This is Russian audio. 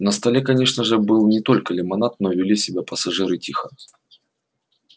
на столе конечно же был не только лимонад но вели себя пассажиры тихо